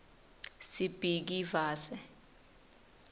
sibhikivaze